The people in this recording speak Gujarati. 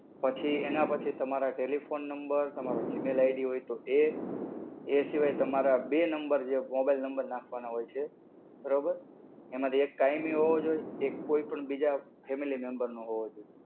પછી એના પછી તમારા telephone number, તમારો Gmail ID હોય તો એ, એ સિવાય તમારા બે number જે mobile number નાખવાના હોય છે. બરોબર. એમાંથી એક કાયમી હોવો જોઈએ, એક કોઈ પણ બીજા family member નો હોવો જોઈએ.